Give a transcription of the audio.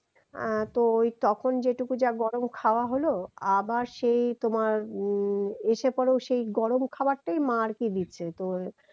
আহ তো তখন যেটুকু যা গরম খাওয়া হলো আবার সেই তোমার উম এসে পরেও সেই গরম খাবারটাই মা আরকি দিচ্ছে তো